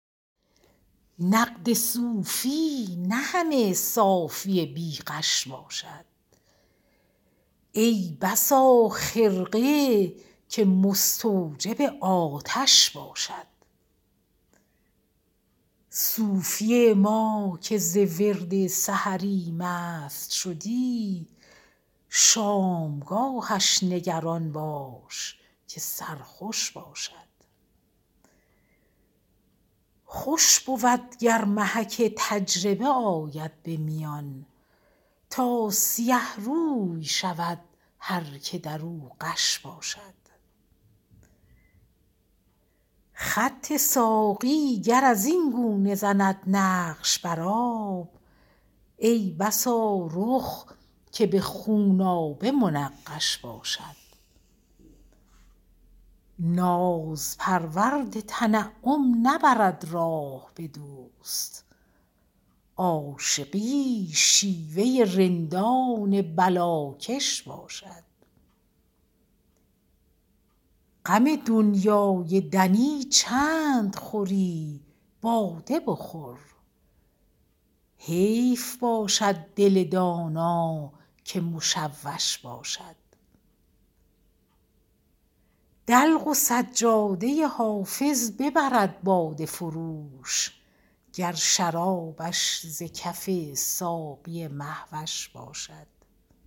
نقد صوفی نه همه صافی بی غش باشد ای بسا خرقه که مستوجب آتش باشد صوفی ما که ز ورد سحری مست شدی شامگاهش نگران باش که سرخوش باشد خوش بود گر محک تجربه آید به میان تا سیه روی شود هر که در او غش باشد خط ساقی گر از این گونه زند نقش بر آب ای بسا رخ که به خونآبه منقش باشد ناز پرورد تنعم نبرد راه به دوست عاشقی شیوه رندان بلاکش باشد غم دنیای دنی چند خوری باده بخور حیف باشد دل دانا که مشوش باشد دلق و سجاده حافظ ببرد باده فروش گر شرابش ز کف ساقی مه وش باشد